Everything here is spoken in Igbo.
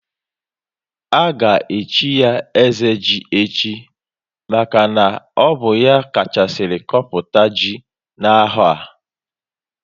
A ga echi ya ezeji echi maka na ọ bụ ya kachasiri kpọpụta ji na afo a